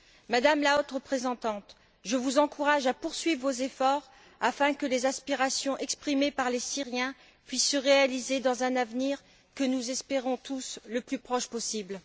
Madame la Haute représentante, je vous encourage à poursuivre vos efforts afin que les aspirations exprimées par les Syriens puissent se réaliser dans un avenir que nous espérons tous le plus proche possible.